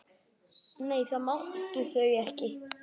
Nei, það máttu þau ekki.